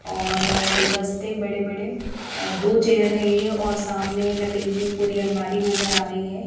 और गुलदस्ते बड़े-बड़े और दो चेयर है ये और सामने की तरफ लकड़ी की पूरी अलमारी नज़र आ रही है।